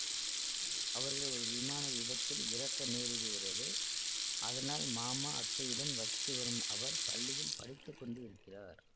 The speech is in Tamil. அவர்கள் ஒரு விமான விபத்தில் இறக்க நேரிடுகிறது அதனால் மாமா அத்தையுடன் வசித்து வரும் அவர் பள்ளியில் படித்து கொண்டு இருக்கிறார்